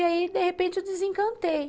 E aí, de repente, eu desencantei.